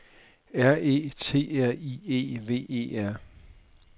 R E T R I E V E R